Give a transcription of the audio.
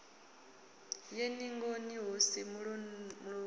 ye ningoni hu si mulomoni